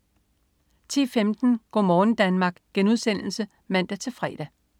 10.15 Go' morgen Danmark* (man-fre)